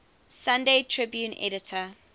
sunday tribune editor